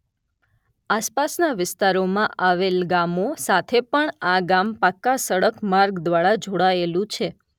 આસપાસનાં વિસ્તારોમાં આવેલાં ગામો સાથે પણ આ ગામ પાકા સડક માર્ગ દ્વારા જોડાયેલું છે